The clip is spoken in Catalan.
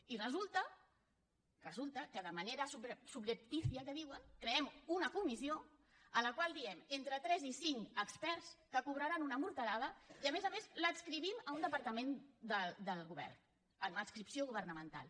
i resulta resulta que de manera subreptícia que en diuen creem una comissió en la qual diem entre tres i cinc experts que cobraran una morterada i a més a més l’adscrivim a un departament del govern amb adscripció governamental